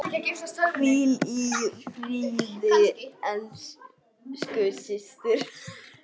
Hvíl í friði, elsku systir.